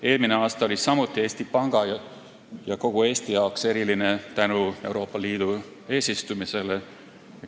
Eelmine aasta oli samuti Eesti Panga ja kogu Eesti jaoks eriline tänu Euroopa Liidu eesistumisele.